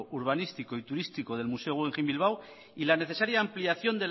urbanístico y turístico del museo guggenheim bilbao y la necesaria ampliación